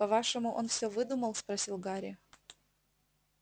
по-вашему он все выдумал спросил гарри